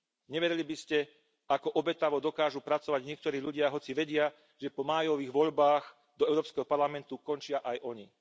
Neverili by ste, ako obetavo dokážu pracovať niektorí ľudia, hoci vedia, že po májových voľbách do Európskeho parlamentu končia aj oni.